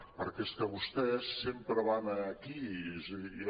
perquè és que vostès sempre van aquí és a dir